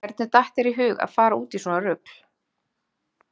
Hvernig datt þér í hug að fara út í svona rugl?